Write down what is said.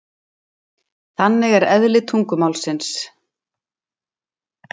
Þannig er eðli tungumálsins.